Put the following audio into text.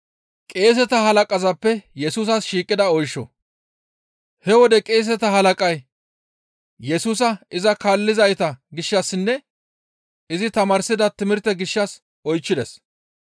He wode qeeseta halaqay Yesusa iza kaallizayta gishshassinne izi tamaarsida timirte gishshas oychchides.